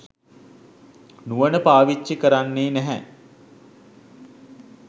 නුවණ පාවිච්චි කරන්නේ නැහැ.